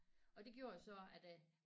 Og det gjorde jo så at øh